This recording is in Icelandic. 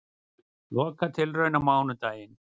Lokatilraun á mánudaginn